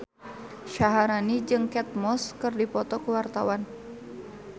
Syaharani jeung Kate Moss keur dipoto ku wartawan